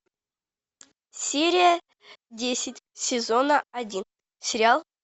серия десять сезона один сериал